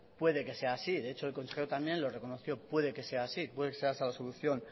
puede que sea así de hecho el consejero también lo reconoció puede que sea así puede que sea esa la solución